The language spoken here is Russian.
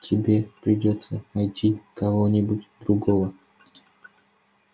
тебе придётся найти кого-нибудь другого